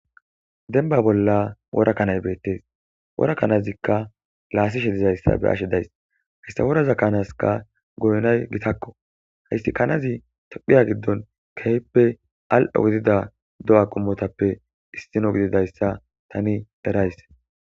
Denba bolla worakanay beettes wora kanazikka laasishe dizayssa be ashe days histaworaza kaanaska goynay gitakko haysti kanazi tophiya giddon kehippe al7o gidida do'a qumotappe issino gididayssa tani derays.